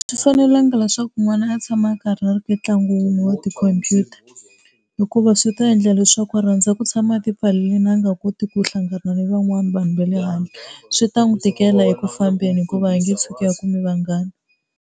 A swi fanelanga leswaku n'wana a tshama a karhi a ri ka ntlangu wun'we wa tikhompyuta, hikuva swi ta endla leswaku a rhandza ku tshama a ti pfalerini a nga koti ku hlangana ni van'wana vanhu va le handle swi ta n'wi tikela eku fambeni hikuva a nge tshuki a kumi vanghana.